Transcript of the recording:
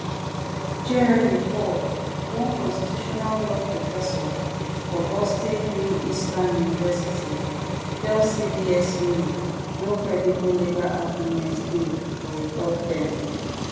jeremy paul one constitutional law professor for boston northeastern university tell cbs new no credible legal arguments dey for a third term